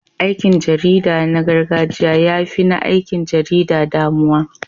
Aikin jarida na gargajiya ya fi na aikin jarida damuwa.